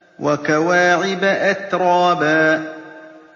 وَكَوَاعِبَ أَتْرَابًا